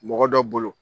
Mɔgɔ dɔ bolo